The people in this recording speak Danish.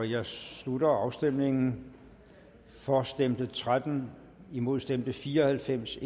jeg slutter afstemningen for stemte tretten imod stemte fire og halvfems